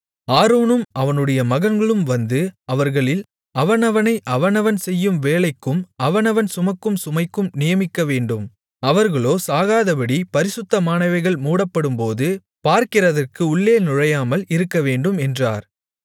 ஆரோனும் அவனுடைய மகன்களும் வந்து அவர்களில் அவனவனை அவனவன் செய்யும் வேலைக்கும் அவனவன் சுமக்கும் சுமைக்கும் நியமிக்கவேண்டும் அவர்களோ சாகாதபடிப் பரிசுத்தமானவைகள் மூடப்படும்போது பார்க்கிறதற்கு உள்ளே நுழையாமல் இருக்கவேண்டும் என்றார்